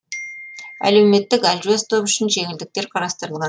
әлеуметтік әлжуаз топ үшін жеңілдіктер қарастырылған